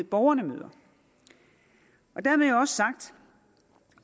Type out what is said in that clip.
borgerne møder dermed er også sagt